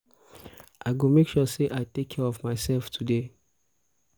um i go make sure um say i take care of myself today. um